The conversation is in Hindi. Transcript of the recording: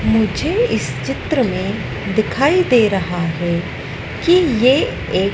मुझे इस चित्र में दिखाई दे रहा है कि ये एक--